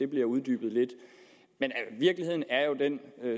bliver uddybet lidt men virkeligheden er jo den